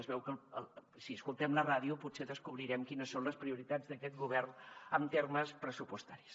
es veu que si escoltem la ràdio potser descobrirem quines són les prioritats d’aquest govern en termes pressupostaris